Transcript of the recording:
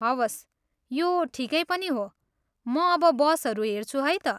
हवस्, यो ठिकै पनि हो, म अब बसहरू हेर्छु है त।